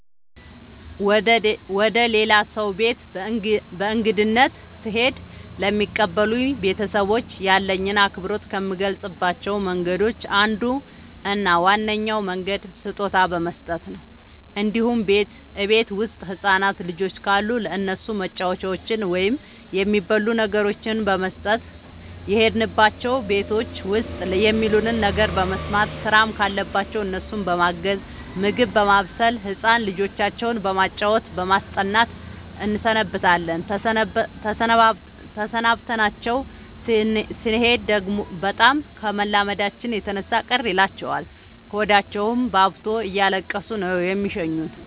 ወደ ሌላ ሰው ቤት በእንግድነት ስሄድ ለሚቀበሉኝ ቤተሰቦች ያለኝን አክብሮት ከምገልፅባቸው መንገዶች አንዱ እና ዋነኛው መንገድ ስጦታ በመስጠት ነው እንዲሁም እቤት ውስጥ ህፃናት ልጆች ካሉ ለእነሱ መጫወቻዎችን ወይም የሚበሉ ነገሮችን በመስጠት። የሄድንባቸው ቤቶች ውስጥ የሚሉንን ነገር በመስማት ስራም ካለባቸው እነሱን በማገዝ ምግብ በማብሰል ህፃን ልጆቻቸው በማጫወት በማስጠናት እንሰነብታለን ተሰናብተናቸው ስኔድ በጣም ከመላመዳችን የተነሳ ቅር ይላቸዋል ሆዳቸውባብቶ እያለቀሱ ነው የሚሸኙን።